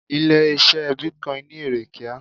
Ilé ise Bitcoin ni ere kíá.